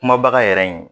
Kuma baga yɛrɛ in